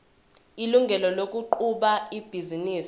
ilungelo lokuqhuba ibhizinisi